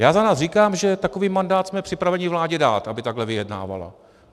Já za nás říkám, že takový mandát jsme připraveni vládě dát, aby takhle vyjednávala.